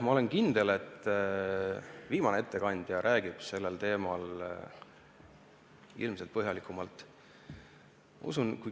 Ma olen kindel, et viimane ettekandja räägib sel teemal põhjalikumalt.